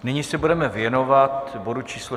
Nyní se budeme věnovat bodu číslo